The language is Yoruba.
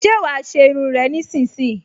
Ṣé wàá ṣe irun rẹ nísinsìnyí!